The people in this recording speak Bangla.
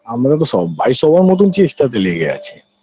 আমরা তো সব ভাই সবার মতন চেষ্টাতে লেগে আছি